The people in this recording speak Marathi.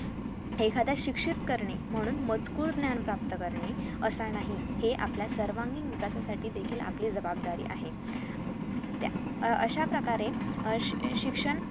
एखाद्या शिक्षित करणे म्हणून मजकूर ज्ञान प्राप्त करणे असं नाही हे आपल्या सर्वांगीण विकास साठी देखील आपली जबाबदारी आहे त्या अं अश्याप्रकारे अह श शिक्षण